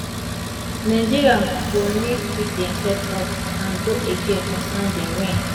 nigeria go need pick demsef up and go again on sunday wen